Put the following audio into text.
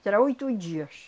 Será oito dias.